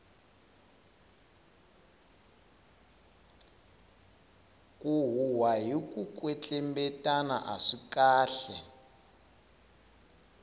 ku huhwa hiku kwetlembetana aswi kahle